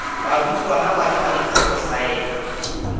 barutwana ba tshwanetse go saena